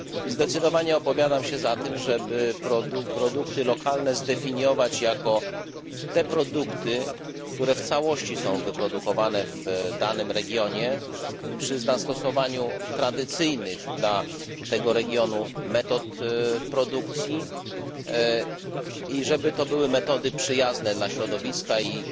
Zdecydowanie opowiadam się za tym, żeby produkty lokalne zdefiniować jako te produkty, które w całości są wyprodukowane w danym regionie przy zastosowaniu tradycyjnych dla tego regionu metod produkcji i żeby to były metody przyjazne dla środowiska i